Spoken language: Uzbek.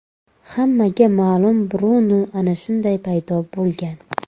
Hammaga ma’lum Brunu ana shunday paydo bo‘lgan.